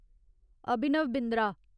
Abhinav Bindra